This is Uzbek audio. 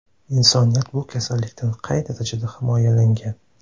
Insoniyat bu kasallikdan qay darajada himoyalangan?